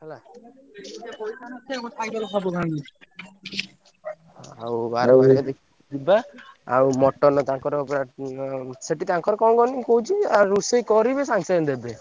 ହେଲା ଆଉ ବାର ମାରିଆ ଦେଖିକି ଯିବା ଆଉ mutton ତାଙ୍କର ପୁରା ଉଁ ସେଠି ତାଙ୍କର କଣ କହନି ମୁଁ କହୁଛି ଆ ରୋଷେଇ କରିବେ ସାଙ୍ଗେସାଙ୍ଗେ ଦେବେ।